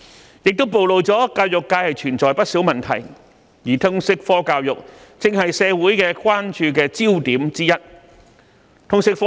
此事亦暴露教育界存在不少問題，而通識科教育正是社會關注的焦點之一。